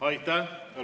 Aitäh!